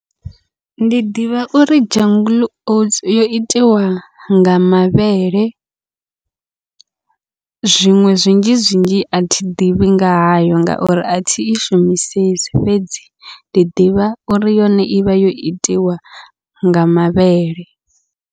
Ndi ḓivha uri jungle oats yo itiwa nga mavhele, zwiṅwe zwinzhi zwinzhi athi ḓivhi nga hayo ngauri athi i shumisesi fhedzi ndi ḓivha uri yone ivha yo itiwa nga mavhele.